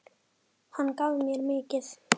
Hann gaf mér mikið.